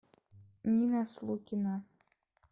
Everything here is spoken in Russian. нина слукина